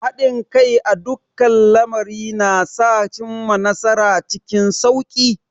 Haɗin kai a dukkan lamari na sa a cimma nasara cikin sauki.